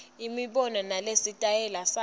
imibono nesitayela sakhe